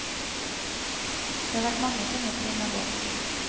Det har vært mange tunge trinn å gå.